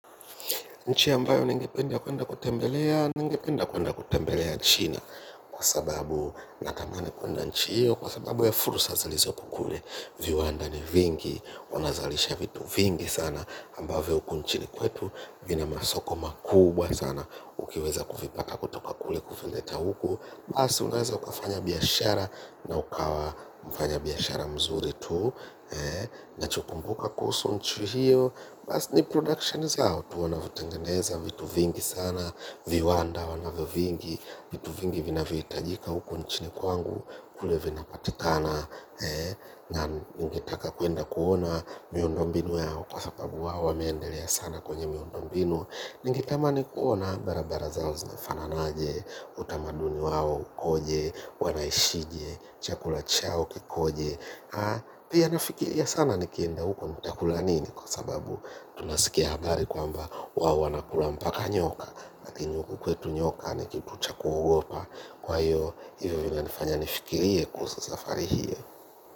Nchi ambayo ningependa kuenda kutembelea, ningependa kuenda kutembelea China. Kwa sababu natamani kuenda nchi hiyo kwa sababu ya fursa ziliizopo kule. Viwanda ni vingi, wanazalisha vitu vingi sana, ambavyo huku nchini kwetu, vina masoko makubwa sana. Ukiweza kuvipata kutoka kule kuvileta huku. Basi unaweza ukafanya biashara na ukawa mfanya biashara mzuri tu. Nachokumbuka kuhusu nchi hiyo. Basi ni production zao tu wanavyotengeneza vitu vingi sana viwanda wanavyo vingi vitu vingi vinayohitajika huku nchini kwangu kule vinapatikana. Na ningitaka kuenda kuona miondombinu yao kwa sababu wawameendelea sana kwenye miondombinu ningitamani kuona barabara zao zinafanana aje. Utamaduni wao ukoje? Wanaishije? Chakula chao kikoje? Pia nafikiria sana nikienda huko nitakula nini kwa sababu tunasikia habari kwamba wao wanakula mpaka nyoka. Lakini huku kwetu nyoka ni kitu cha kuogopa kwa hiyo hivyo vinanifanya nifikirie kuso safari hiyo.